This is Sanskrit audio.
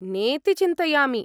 नेति चिन्तयामि।